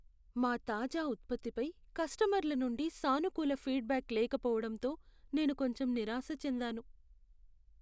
మా తాజా ఉత్పత్తి పై కస్టమర్ల నుండి సానుకూల ఫీడ్ బ్యాక్ లేకపోవడంతో నేను కొంచెం నిరాశ చెందాను.